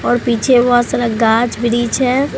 और पीछे बहोत सारा गाछ ब्रिज है।